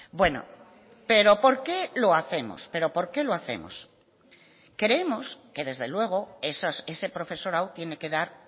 bueno pero por qué lo hacemos pero por qué lo hacemos creemos que desde luego ese profesorado tiene que dar